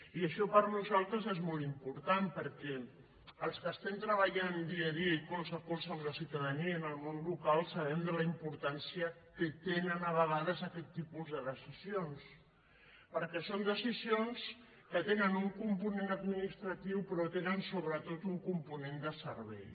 i això per nosaltres és molt important perquè els que estem treballant dia a dia i colze a colze amb la ciutadania en el món local sabem de la importància que tenen a vegades aquests tipus de decisions perquè són decisions que tenen un component administratiu però tenen sobretot un component de servei